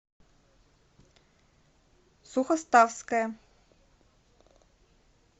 сухоставская